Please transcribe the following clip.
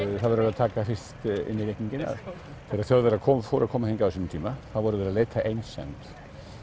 það verður að taka fyrst inn í reikninginn að þegar Þjóðverjar fóru að koma hingað á sínum tíma þá voru þeir að leita að einsemd